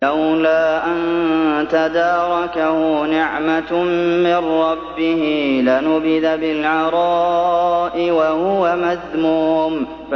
لَّوْلَا أَن تَدَارَكَهُ نِعْمَةٌ مِّن رَّبِّهِ لَنُبِذَ بِالْعَرَاءِ وَهُوَ مَذْمُومٌ